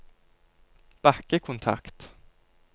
bakkekontakt